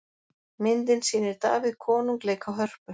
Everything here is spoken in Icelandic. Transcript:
myndin sýnir davíð konung leika á hörpu